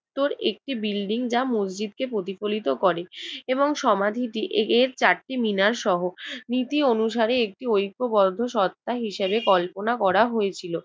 উত্তর একটি বিল্ডিং যা মসজিদকে প্রতিফলিত করে এবং সমাধিটি এর চারটি মিনারসহ নীতি অনুসারে একটি ঐক্যবদ্ধ সত্ত্বা হিসেবে কল্পনা করা হয়েছিল।